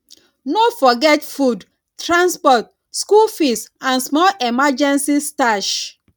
no forget food transport school fees and small emergency stash